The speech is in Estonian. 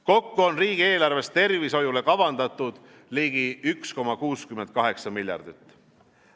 Kokku on riigieelarves tervishoiule kavandatud ligi 1,68 miljardit.